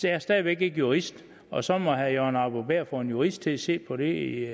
jeg er stadig væk ikke jurist og så må herre jørgen arbo bæhr få en jurist til at se på det